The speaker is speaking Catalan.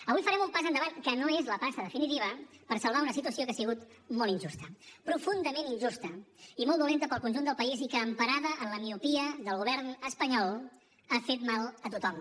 avui farem un pas endavant que no és la passa definitiva per salvar una situació que ha sigut molt injusta profundament injusta i molt dolenta per al conjunt del país i que emparada en la miopia del govern espanyol ha fet mal a tothom